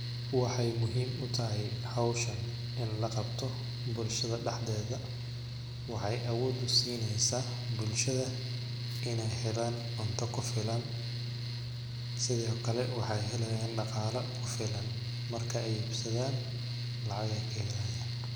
Waxeey muhiim u tahay hawshan in la qabto bulshada dhaxdeeda waxey awood usineysaa bulshada ineey helan cunta ku filan ,sithokale waxeey heleyaan dhaqaala ku filan, marke ay iibsadaan lacag ayeey ka helayaan .